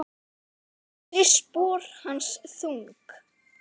Gerir spor hans þung.